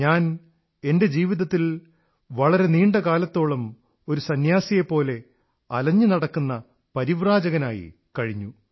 ഞാൻ എന്റെ ജീവിതത്തിൽ വളരെ നീണ്ട കാലത്തോളം ഒരു സംന്യാസിയെപ്പോലെ അലഞ്ഞു നടക്കുന്ന പരിവ്രാജകനായി കഴിഞ്ഞു